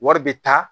Wari bɛ taa